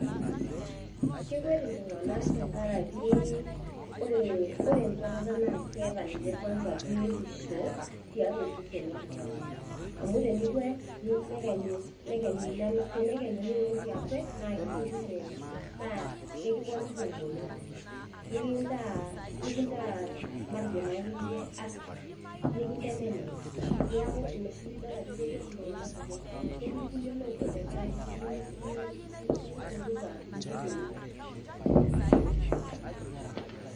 Kekwet ltunganak tenkaraki ore enkwatata na keeta biotisho tiatuaosesn loltungani amu tenikwet nekenyu nintoki akwet na ekiponiki engolon nikintaa matejo active neaku inaoshi pidol ajo kekwet ltunganak kumok tenkaraki keyieu nipunguza nkiloi.